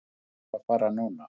Ég þarf að fara núna